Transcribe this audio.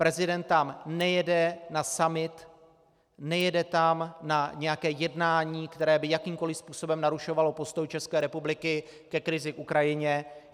Prezident tam nejede na summit, nejede tam na nějaké jednání, které by jakýmkoliv způsobem narušovalo postoj České republiky ke krizi k Ukrajině.